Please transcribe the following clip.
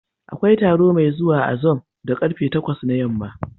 Akwai taro mai zuwa a zoom da ƙarfe takwas na yamma.